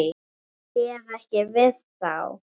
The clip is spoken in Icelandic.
Hún réð ekki við þá.